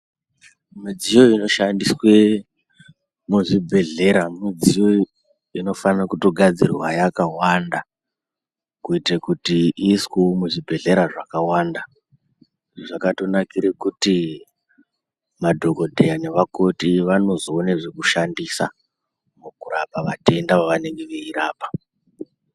Midziyo inoshandiswe muzvibhedlera, midziyo inofanira kutogadzirwa yakawanda kuitira kuti iiswewo muzvibhedlera zvakawanda zvakatonakire kuti madhogodheya nevakoti vanozowone zvekushandisa mukurapa matenda avanenge beyirapa.